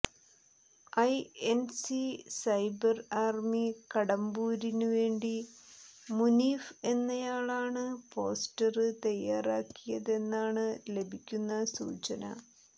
INC cyber army കടമ്പൂരിനുവേണ്ടി മുനീഫ് എന്നയാളാണ് poster തയ്യാറാക്കിയതെന്നാണ് ലഭിക്കുന്ന സൂചന